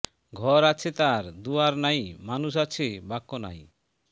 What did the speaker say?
ঘর আছে তার দুয়ার নাই মানুষ আছে বাক্য নাই